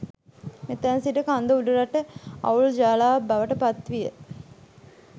මෙතැන් සිට කන්ද උඩරට අවුල් ජාලාවක් බවට පත්විය.